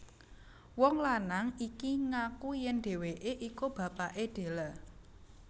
Wong lanang iki ngaku yèn dheweké iku bapaké Della